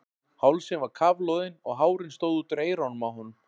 Hálsinn var kafloðinn og hárin stóðu út úr eyrunum á honum.